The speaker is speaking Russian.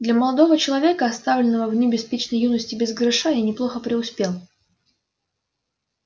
для молодого человека оставленного в дни беспечной юности без гроша я неплохо преуспел